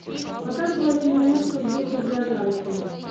показывай киноленту в духе биографии